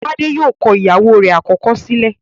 Tade yóò kọ ìyàwó rẹ̀ àkọ́kọ́ sílẹ̀